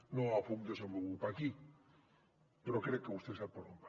no el puc desenvolupar aquí però crec que vostè sap per on va